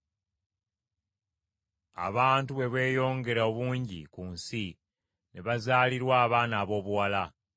Abantu bwe beeyongera obungi ku nsi ne bazaalirwa abaana aboobuwala.